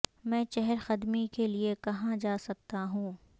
میں چہل قدمی کے لئے کہاں جا سکتا ہوں